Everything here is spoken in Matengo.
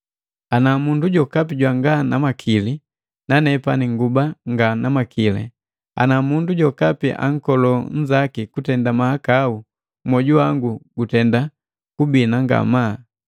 Ana mundu jokapi jwanga na makili, nanepani nguba nga na makili, ana mundu jokapi ankolo nnzaki kutenda mahakau mwoju wangu gutenda kubina ngamaa?